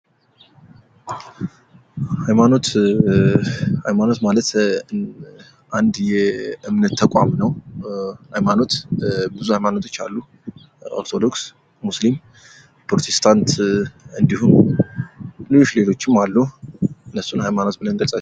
ሀይማኖት ፦ ሀይማኖት ማለት አንድ የእምነት ተቋም ነው ። ሀይማኖት ብዙ ሀይማኖቶች አሉ ኦርቶዶክስ ፣ ሙስሊም ፣ ፕሮቴስታንት እንዲሁም ሌሎች ሌሎችም አሉ እነሱን ሃይማኖት ብለን እንገልፃቸዋለን ።